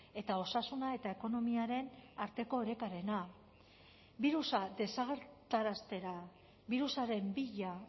eta osasuna eta ekonomiaren arteko orekarena birusa desagertaraztera birusaren bila